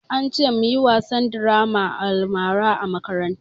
An ce mu yi wasan draman almara a makaranta